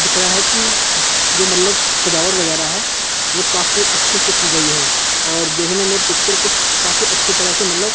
दिख रहा है कि जो मतलब सजावट वगैरह है वह काफी अच्छे से की गई है और देखने में पिक्चर कुछ काफी अच्छी तरह से मतलब--